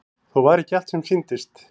Þó var ekki allt sem sýndist.